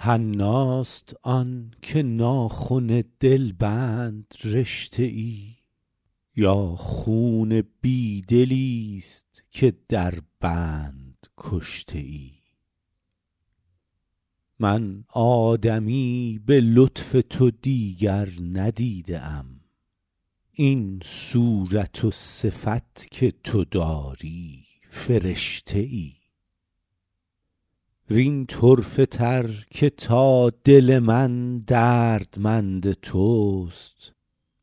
حناست آن که ناخن دلبند رشته ای یا خون بی دلیست که در بند کشته ای من آدمی به لطف تو دیگر ندیده ام این صورت و صفت که تو داری فرشته ای وین طرفه تر که تا دل من دردمند توست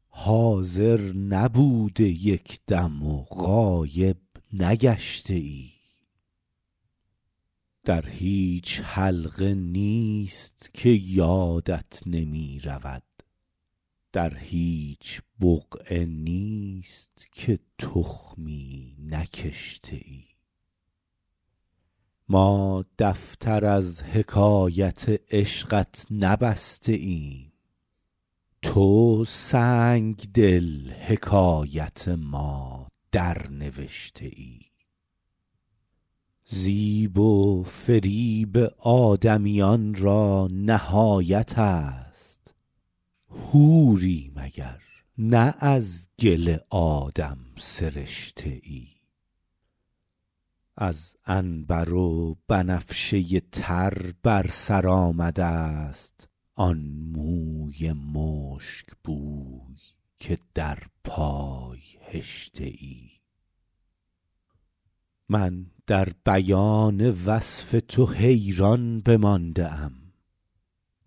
حاضر نبوده یک دم و غایب نگشته ای در هیچ حلقه نیست که یادت نمی رود در هیچ بقعه نیست که تخمی نکشته ای ما دفتر از حکایت عشقت نبسته ایم تو سنگدل حکایت ما درنوشته ای زیب و فریب آدمیان را نهایت است حوری مگر نه از گل آدم سرشته ای از عنبر و بنفشه تر بر سر آمده ست آن موی مشکبوی که در پای هشته ای من در بیان وصف تو حیران بمانده ام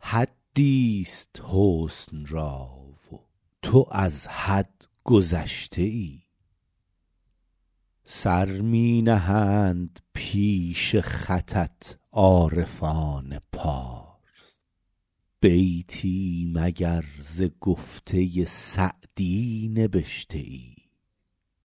حدیست حسن را و تو از حد گذشته ای سر می نهند پیش خطت عارفان پارس بیتی مگر ز گفته سعدی نبشته ای